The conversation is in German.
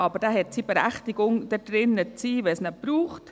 Dieser hat aber seine Berechtigung, wenn es ihn braucht.